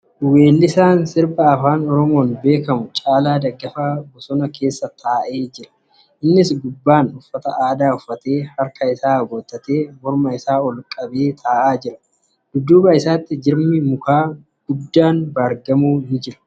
Weellisaan sirba Afaan Oromoo Caalaa Daggafaa bosona keessa taa'ee jira. Innis gubbaan uffata aadaa uffataee harka isaa aboottatee morma isaa ol qabee taa'aa jira. Dudduuba isaatti jirmi muka guddaa baargamoo ni jira.